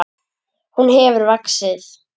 Hún hefur vaxið.